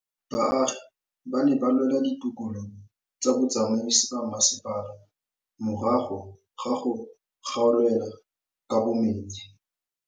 Baagi ba ne ba lwa le ditokolo tsa botsamaisi ba mmasepala morago ga go gaolelwa kabo metsi